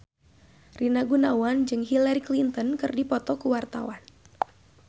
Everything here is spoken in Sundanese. Rina Gunawan jeung Hillary Clinton keur dipoto ku wartawan